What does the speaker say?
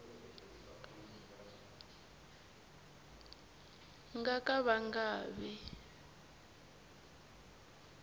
nga ka va nga vi